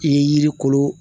I ye yiri kolo